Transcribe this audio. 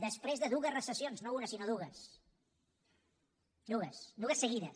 després de dues recessions no una sinó dues dues dues de seguides